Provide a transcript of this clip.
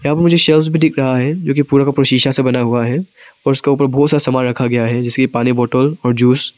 यहां पे मुझे शेल्व्स भी दिख रहा है जो कि पूरा का पूरा शीशा से बना हुआ है और उसके ऊपर बहुत सा सामान रखा गया है जैसे पानी बॉटल और जूस ।